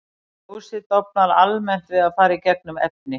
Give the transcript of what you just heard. Ljósið dofnar almennt við að fara í gegnum efni.